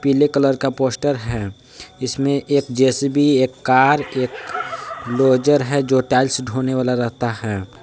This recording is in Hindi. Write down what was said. पीले कलर का पोस्टर है जिसमें एक जे_सी_बी एक कार एक लोजर है जो टाइल्स ढोने वाला रहता है।